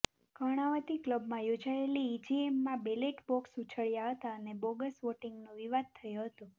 કર્ણાવતી ક્લબમાં યોજાયેલી ઇજીએમમાં બેલેટ બોક્સ ઉછળ્યા હતા અને બોગસ વોટિંગનો વિવાદ થયો હતો